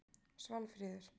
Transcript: Svanfríður